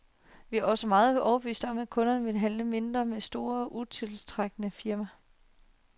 Vi er også overbevist om, at kunderne vil handle mindre med store, utiltrækkende firmaer.